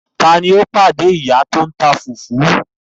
Taani ó pàdé ìyá tòun tá fùfú